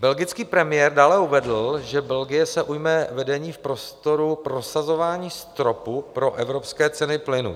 Belgický premiér dále uvedl, že Belgie se ujme vedení v prostoru prosazování stropu pro evropské ceny plynu.